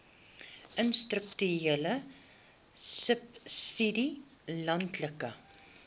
institusionele subsidie landelike